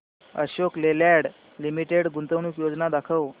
Ashok Leyland Limited गुंतवणूक योजना दाखव